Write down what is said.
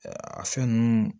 a fɛn nunnu